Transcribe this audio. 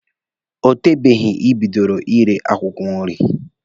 O tebeghị Ị bidoro ire akwụkwọ nri.